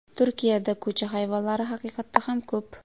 Turkiyada ko‘cha hayvonlari haqiqatda ham ko‘p.